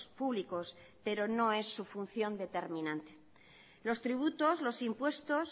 públicos pero no es su función determinante los tributos los impuestos